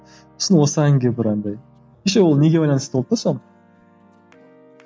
сосын осы әнге бір андай еще ол неге байланысты болды да соның